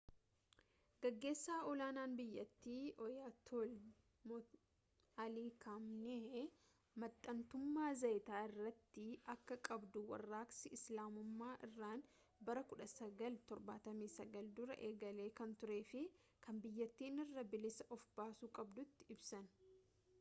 gaggeessaa ol aanaan biyyattii ayatollah ali khamenei maxxantummaa zayita irrattii akka qabduu warraaqsi islaamummaa iraan bara 1979 duraa eegalee kan turee fi kan biyyattiin irraa bilisa of baasuu qabduutti ibsan